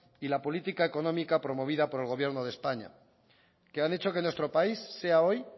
y la política económica promovida por el gobierno de españa que han hecho que nuestro país sea hoy